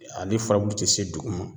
Ale furabulu tɛ se duguma